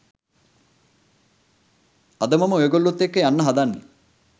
අද මම ඔයගොල්ලොත් එක්ක යන්න හදන්නේ